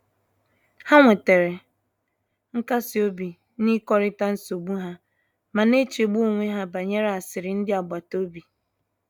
Ha nwetere nkasi obi n’ịkọrịta nsogbu ha, ma na-echegbu onwe ha banyere asịrị ndị agbata obi."